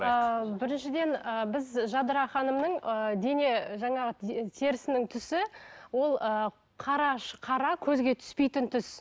ыыы біріншіден і біз жадыра ханымның ыыы дене жаңағы терісінің түсі ол ыыы қара көзге түспейтін түс